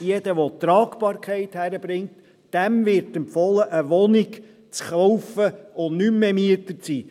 jeder, der die Tragbarkeit hinbekommt: Diesem wird empfohlen, eine Wohnung zu kaufen und nicht mehr Mieter zu sein.